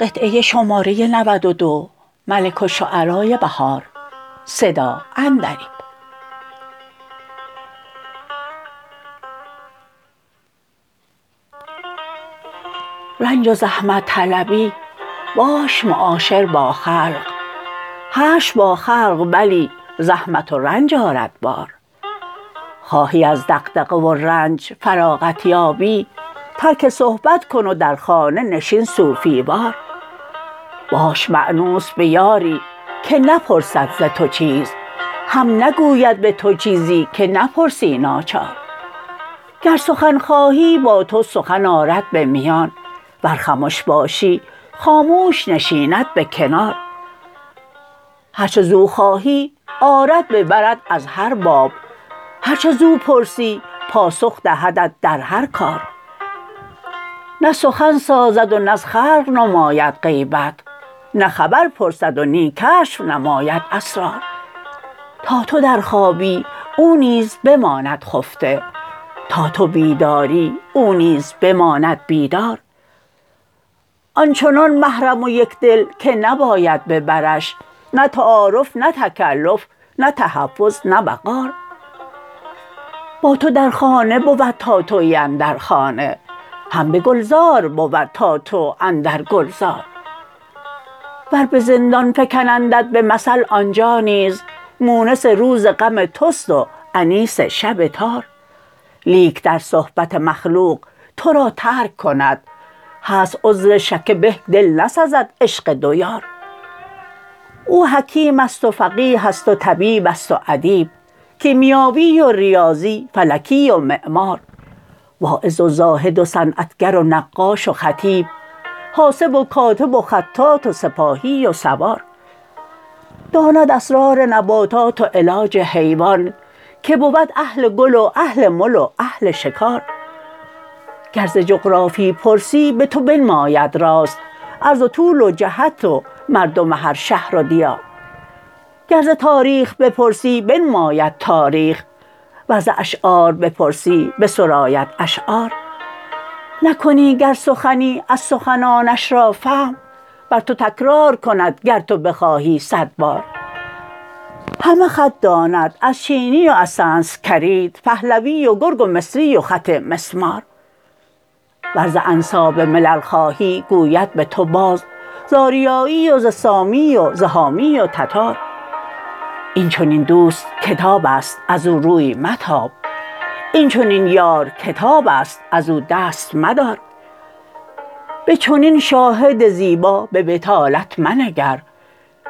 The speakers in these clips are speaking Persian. رنج و زحمت طلبی باش معاشر با خلق حشر با خلق بلی رحمت و رنج آرد بار خواهی از دغدغه و رنج فراغت یابی ترک صحبت کن و در خانه نشین صوفی وار باش مأنوس به یاری که نپرسد ز تو چیز هم نگوید به تو چیزی که نپرسی ناچار گر سخن خواهی با تو سخن آرد به میان ور خمش باشی خاموش نشیند به کنار هرچه زو خواهی آرد به برت از هر باب هرچه زو پرسی پاسخ دهدت در هر کار نه سخن سازد و نز خلق نماید غیبت نه خبر پرسد و نی کشف نماید اسرار تا تو در خوابی او نیز بماند خفته تا تو بیداری او نیز بماند بیدار آن چنان محرم و یکدل که نباید ببرش نه تعارف نه تکلف نه تحفظ نه وقار با تو در خانه بود تا تویی اندر خانه هم به گلزار بود تا تو اندرگلزار ور به زندان فکنندت به مثل آنجا نیز مونس روز غم تست و انیس شب تار لیک در صحبت مخلوق تو را ترک کند هست عذرشکه بهک دل نسزد عشق دویار او حکیمست و فقیه است و طبیبست و ادیب کیمیاوی و رباضی فلکی و معمار واعظ و زاهد و صنعتگر و نقاش و خطیب حاسب و کاتب و خطاط و سپاهی و سوار داند اسرار نباتات و علاج حیوان که بود اهل گل و اهل مل و اهل شکار گر ز جغرافی پرسی به تو بنماید راست عرض و طول و جهت و مردم هر شهر و دیار گر ز تاریخ بپرسی بنماید تاریخ ور ز اشعار بپرسی بسراید اشعار نکنی گر سخنی از سخنانش را فهم بر تو تکرار کند گر تو بخواهی صد بار همه خط داند از چینی و از سنسکریت پهلوی و گرگ و مصری و خط مسمار ور ز انساب ملل خواهی گوید به تو باز ز آریایی و ز سامی و ز حامی و تتار این چنین دوست کتابست از او روی متاب این چنین یار کتابست ازو دست مدار به چنین شاهد زیبا به بطالت منگر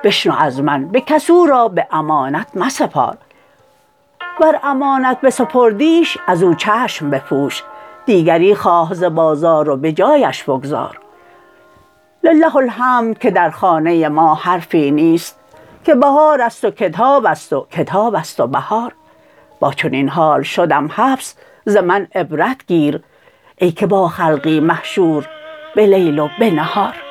بشنو از من به کس او را به امانت مسپار ور امانت بسپردیش ازو چشم بپوش دیگری خواه ز بازار و به جایش بگذار لله الحمد که در خانه ما حرفی نیست که بهار است و کتابست و کتابست و بهار با چنین حال شدم حبس ز من عبرت گیر ای که با خلقی محشوربه لیل وبه نهار